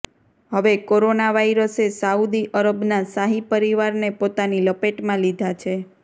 હવે કોરોના વાયરસે સાઉદી અરબના શાહી પરિવારને પોતાની લપેટમાં લીધા છે